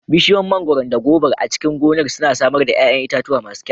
Bishiyoyin mangwaron da gobar a cikin gonar suna samar da ƴaƴan itatuwa masu kyau.